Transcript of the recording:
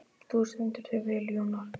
Þú stendur þig vel, Jónar!